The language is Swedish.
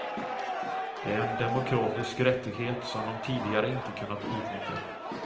Det är en demokratisk rättighet som de tidigare inte kunnat utnyttja.